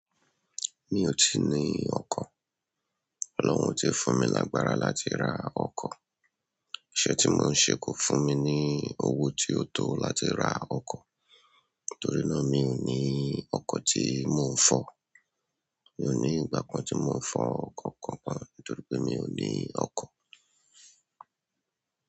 Mi ò tí ì ní ọkọ̀, Ọlọ́run ti fún mi lágbára láti ra ọkọ̀. Iṣẹ́ tí mò ń ṣe kò fún mi ní owó tí ó tó láti ra ọkọ̀, torí náà mi ò ní ọkọ̀ tí mò ń fọ̀. Mi ò ní ìgbà kan tí mò ń fọ ọkọ̀ kankan nítorí pé mi ò ní ọkọ̀.